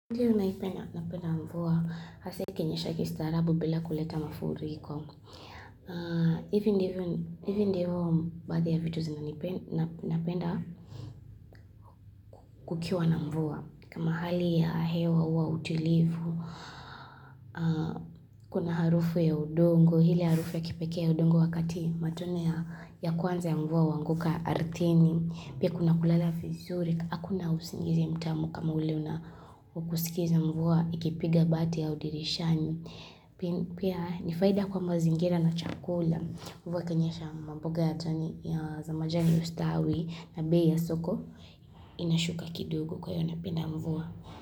Ndiyo napenda mvua, hasa ikinyesha kistarabu bila kuleta mafuriko. Hivi ndiyo baadhi ya vitu napenda kukiwa na mvua. Kama hali ya hewa huwa wa utulivu, kuna harufu ya udongo, hile harufu ya kipekee ya udongo wakati, matone ya kwanza ya mvua huanguka artini, pia kuna kulala fizuri, Hakuna usingizi mtamu kama ule una wa kusikiza mvua ikipiga bati au dirishani. Pia ni faida kwa mazingira na chakula. Mvua ikanyesha ma mboga za majani ustawi na bei ya soko inashuka kidogo kwa hiyo napenda mvua.